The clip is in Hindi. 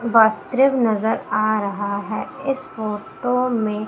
वस्त्र नजर आ रहा है इस फोटो में--